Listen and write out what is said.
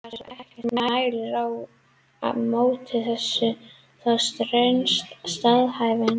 Þar sem ekkert mælir á móti þessu þá stenst staðhæfingin.